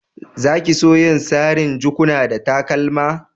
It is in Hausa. Za ki so yin sarin' jakuna da takalma?